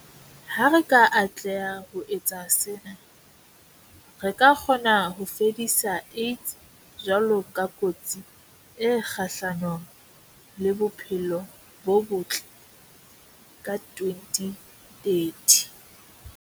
Ha re ka atleha ho etsa sena, re ka kgona ho fedisa AIDS jwalo ka kotsi e kgahlano le bophelo bo botle ka 2030.